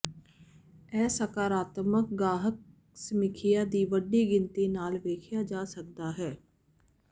ਇਹ ਸਕਾਰਾਤਮਕ ਗਾਹਕ ਸਮੀਖਿਆ ਦੀ ਵੱਡੀ ਗਿਣਤੀ ਨਾਲ ਵੇਖਿਆ ਜਾ ਸਕਦਾ ਹੈ